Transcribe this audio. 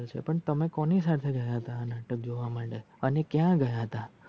પણ તમે કોની સાથે ગયા હતા જોવા માટે? અને ક્યાં ગયા હતા?